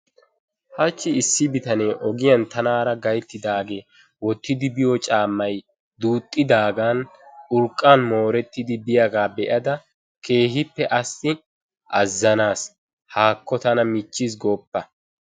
Hachi issi bitanee ogiyantanaara gayttidaage goochchiidi biyo caamay duuxidaaga be'ada keehippe azanaas, haakko tana michiis goopite.